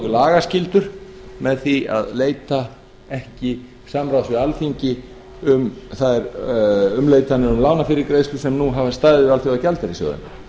lagaskyldur með því að leita ekki samráðs við alþingi um þær umleitanir um lánafyrirgreiðslu sem nú hafi staðið við alþjóðagjaldeyrissjóðinn